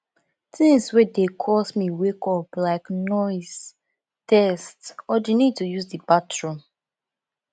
things wey dey cause me wake up like noise thirst or di need to use di bathroom